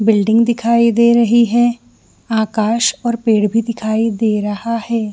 Building दिखाई दे रही है आकाश और पेड़ भी दिखाई दे रहा है।